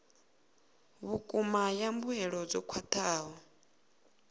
vhukuma ya mbuelo dzo khwathaho